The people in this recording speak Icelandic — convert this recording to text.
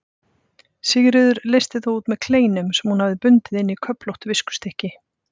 Sigríður leysti þá út með kleinum sem hún hafði bundið inn í köflótt viskustykki.